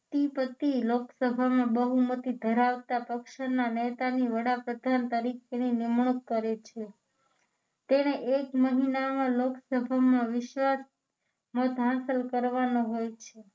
તે પરથી લોકસભામાં બહુમતી ધરાવતા પક્ષોના નેતાની વડાપ્રધાન તરીકેની નિમણૂક કરે છે તેને એક મહિનામાં લોકસભામાં વિશ્વાસ મત હાંસલ કરવાનો હોય છે